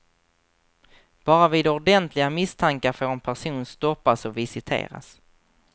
Bara vid ordentliga misstankar får en person stoppas och visiteras.